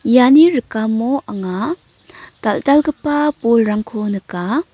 iani rikamo anga dal·dalgipa bolrangko nika.